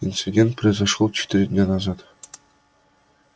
инцидент произошёл четыре дня назад